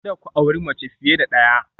Kada ku auri mace fiye da ɗaya